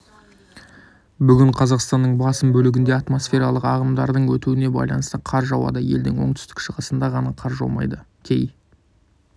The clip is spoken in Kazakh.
бүгін қазақстанның басым бөлігінде атмсофералық ағымдардың өтуіне байланысты қар жауады елдің оңтүстік-шығысында ғана қар жаумайды кей